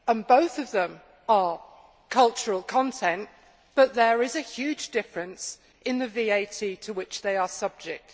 Both of them are cultural content, but there is a huge difference in the VAT to which they are subject.